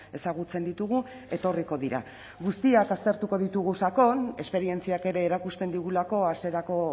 ezagutzen ditugu etorriko dira guztiak aztertuko ditugu sakon esperientziak ere erakusten digulako hasierako